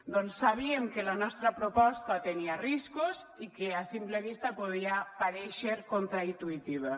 doncs sabíem que la nostra proposta tenia riscos i que a simple vista podia parèixer contraintuïtiva